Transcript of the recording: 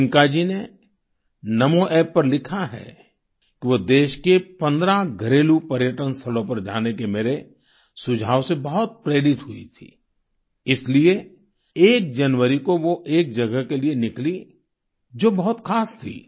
प्रियंका जी ने नामो App पर लिखा है कि वो देश के 15 घरेलू पर्यटन स्थलों पर जाने के मेरे सुझाव से बहुत प्रेरित हुईं थीं इसलिए एक जनवरी को वो एक जगह के लिए निकलीं जो बहुत खास थी